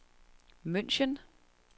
München